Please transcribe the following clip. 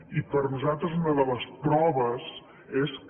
i per nosaltres una de les proves és que